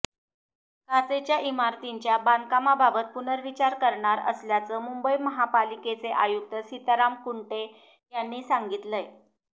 काचेच्या इमारतींच्या बांधकामाबाबत पुनर्विचार करणार असल्याचं मुंबई महापालिकेचे आयुक्त सीताराम कुंटे यांनी सांगितलंय